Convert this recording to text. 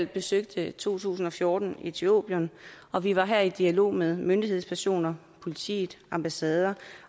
besøgte i to tusind og fjorten etiopien og vi var her i dialog med myndighedspersoner politiet ambassader